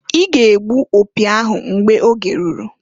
I ga -egbu opi ahụ mgbe oge ruru!